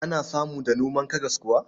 Ana samu da noman karas kuwa?